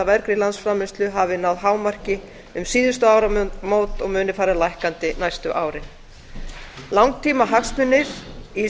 vergri landsframleiðslu hafi náð hámarki um síðustu áramót og muni fara lækkandi næstu árin langtímahagsmunir í